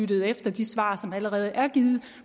der næste